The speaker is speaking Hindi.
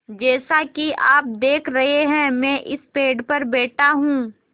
जैसा कि आप देख रहे हैं मैं इस पेड़ पर बैठा हूँ